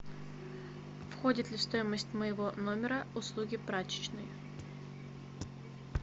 входит ли в стоимость моего номера услуги прачечной